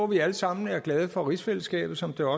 vi alle sammen er glade for rigsfællesskabet som det